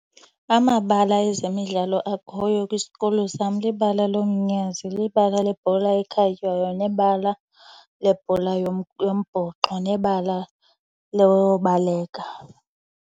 Amabala ezemidlalo akhoyo kwisikolo sam libala lomnyazi, libala lebhola ekhatywayo nebala lebhola yombhoxo nebala lobaleka.